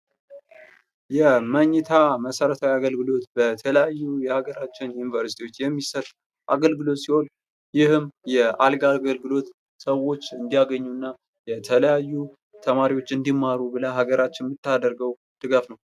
የመኝታ መሰረታዊ አገልግሎት በተለያዩ የሀገራችን ዩኒቨርስቲዎች የሚሰጥ አገልግሎት ሲሆን ፤ ይህም የአልጋ አገልግሎት ሰዎች እንዲያገኙና ፤ ተማሪዎች እንዲማሩ ብላ ሃገራችን የምታደርገው ድጋፍ ነው።